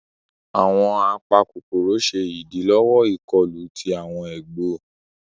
Awọn apakokoro ṣe idilọwọ ikọlù tí awọn egbò.